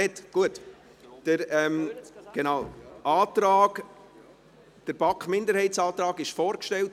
Der BaK-Minderheitsantrag wurde bereits vorgestellt.